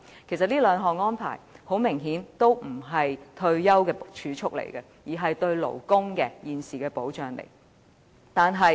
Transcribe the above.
其實，這兩項安排明顯不是為退休而儲蓄，而是屬於勞工保障。